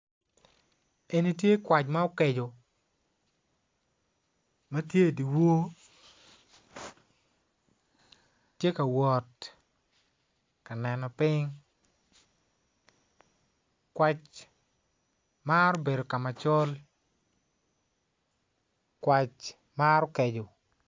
Eni tye kwac ma okeco matye idye wor tye ka wot ka neno piny kwac maro bedo kama col kwac maro keco